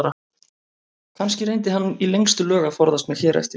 Kannski reyndi hann í lengstu lög að forðast mig hér eftir.